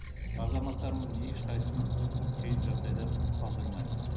азаматтарымыздың ешқайсысын қиын жағдайда қалдырмаймыз